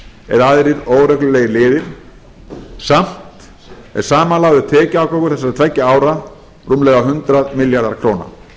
eða aðrir óreglulegir liðir samt er samanlagður tekjuafgangur þessara tveggja ára rúmlega hundrað milljarðar króna